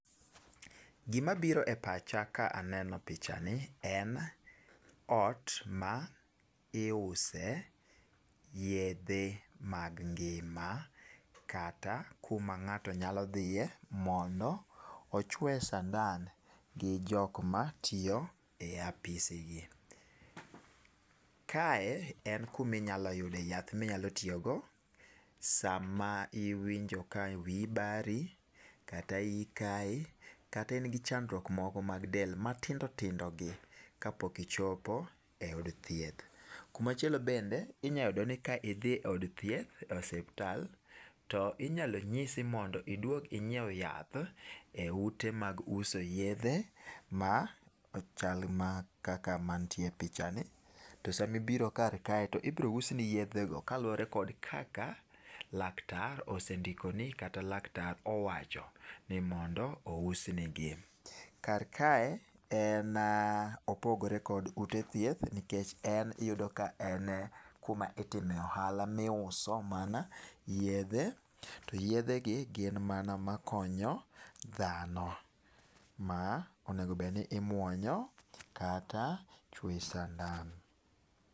Gima biro e pacha ka aneno pichani en ot ma iuse yedhe mag ngima kata kuma ngato nyalo dhie mondo ochowe sandan gi jok ma tiyo e apisi gi kae en kama inyalo yudo yath ma inyalo tiyo go sama iwinjo ka wiyi bari kata iyi kayi kata in gi chandruok mad del ma tindo tindo gi ka pok ichopo e od thieth kuma chielo bende inyalo yudo ka idhi e od thieth e osuptal to inyalo nyisi mondo idwog igiew yath e ute mag uso yedhe ma chal kaka mantie e picha ni to sama ibiro kar kae to ibiro usni yedhe go kaka laktar osendiko ni kata laktar owacho ni mondo ousnigi kar kae opogore gi ute thieth nikech en i yudo ka en kuma itimo ohala mi uso mana yedhe to yedhe gi gin mana ma konyo dhano ma onego bed ni imwonyo kata ichwoyi sandan.